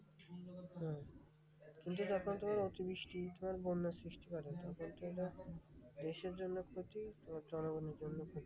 কিন্তু যখন তোমার অতিবৃষ্টি তোমার বন্যার সৃষ্টি করে। তখন তো এটা দেশের জন্য ক্ষতি তোমার জনগণের জন্যও ক্ষতি।